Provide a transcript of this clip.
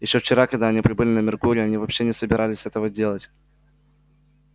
ещё вчера когда они прибыли на меркурий они вообще не собирались этого делать